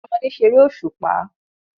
Àwọn ọmọdé ṣeré òṣùpá.